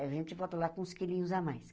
A gente volta lá com uns quilinhos a mais.